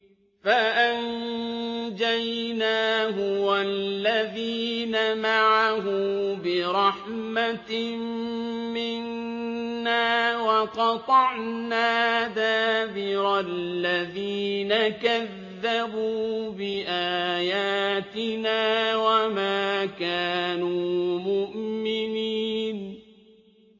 فَأَنجَيْنَاهُ وَالَّذِينَ مَعَهُ بِرَحْمَةٍ مِّنَّا وَقَطَعْنَا دَابِرَ الَّذِينَ كَذَّبُوا بِآيَاتِنَا ۖ وَمَا كَانُوا مُؤْمِنِينَ